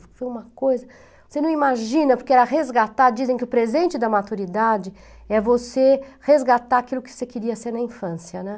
Foi uma coisa, você não imagina, porque era resgatar, dizem que o presente da maturidade é você resgatar aquilo que você queria ser na infância, né?